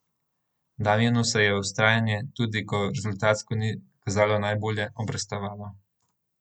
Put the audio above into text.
Damjanu se je vztrajanje, tudi, ko rezultatsko ni kazalo najbolje, obrestovalo.